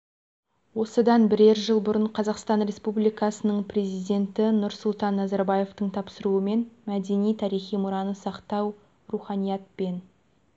осыдан бірер жыл бұрын қазақстан республикасының президенті нұрсұлтан назарбаевтың тапсыруымен мәдени тарихи мұраны сақтау руханият пен